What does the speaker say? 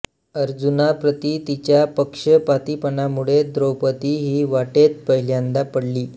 अर्जुनाप्रती तिच्या पक्षपातीपणामुळे द्रौपदी ही वाटेत पहिल्यांदा पडली